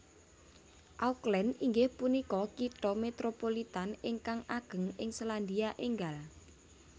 Auckland inggih punika kitha Métropolitan ingkang ageng ing Sélandia Ènggal